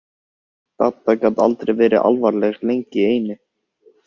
Dadda gat aldrei verið alvarleg lengi í einu.